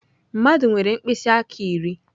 Mmadụ nwere mkpịsị aka iri.